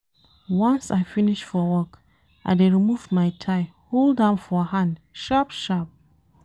Once I finish for work, I dey remove my tie hold am for hand sharp-sharp.